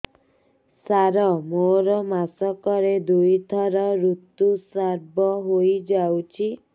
ସାର ମୋର ମାସକରେ ଦୁଇଥର ଋତୁସ୍ରାବ ହୋଇଯାଉଛି